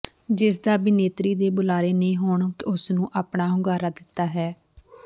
ਜਿਸਦਾ ਅਭਿਨੇਤਰੀ ਦੇ ਬੁਲਾਰੇ ਨੇ ਹੁਣ ਉਸ ਨੂੰ ਆਪਣਾ ਹੁੰਗਾਰਾ ਦਿੱਤਾ ਹੈ